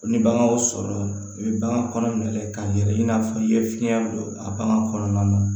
Ni baganw sɔrɔla u bɛ bagan kɔnɔ minɛ k'a yɛlɛ i n'a fɔ i ye fiɲɛ don a bagan kɔnɔna na